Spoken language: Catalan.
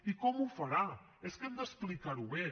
i com ho farà és que hem d’explicar ho bé